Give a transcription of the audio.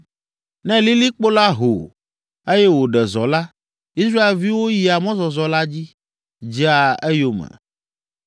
Ne lilikpo la ho, eye wòɖe zɔ la, Israelviwo yia mɔzɔzɔ la dzi, dzea eyome.